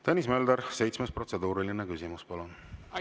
Tõnis Mölder, seitsmes protseduuriline küsimus, palun!